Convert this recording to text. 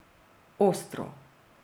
Ostro.